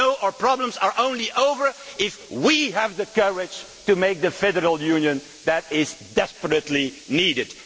No, our problems are only over if we have the courage to create the federal union that is so desperately needed.